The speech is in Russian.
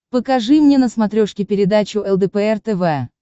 покажи мне на смотрешке передачу лдпр тв